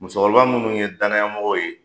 Musokɔrɔba minnu ye danyamɔgɔw ye